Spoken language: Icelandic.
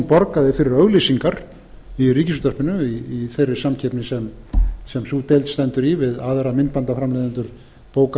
borgaði fyrir auglýsingar í ríkisútvarpinu í þeirri samkeppni sem sú deild stendur í við aðra